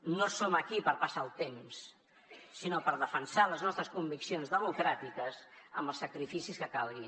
no som aquí per passar el temps sinó per defensar les nostres conviccions democràtiques amb els sacrificis que calgui